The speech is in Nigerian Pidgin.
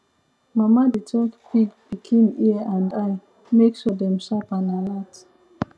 mama dey check pig pikin ear and eye um make sure dem sharp and alert um